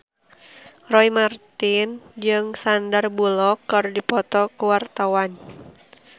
Roy Marten jeung Sandar Bullock keur dipoto ku wartawan